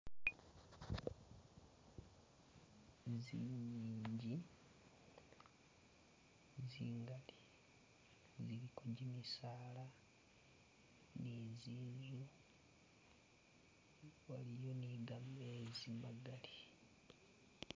Tsingingi tsingaali jiliko jimisaala ne zinzu, waliyo ne [?]